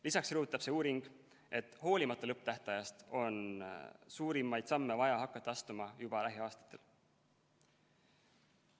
Lisaks rõhutab see uuring, et hoolimata lõpptähtajast on suurimaid samme vaja hakata astuma juba lähiaastatel.